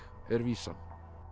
er vísan